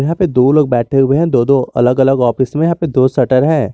यहां पे दो लोग बैठे हुए हैं दो दो अलग अलग ऑफिस में यहां पर दो शटर है।